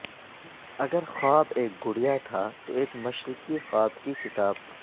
اگر خواب ایک گڑیا تھا تو ایک مشرقی خواب کی کتاب